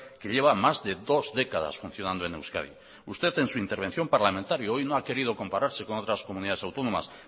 que lleva más de dos décadas funcionando en euskadi usted en su intervención parlamentaria hoy no ha querido compararse con otras comunidades autónomas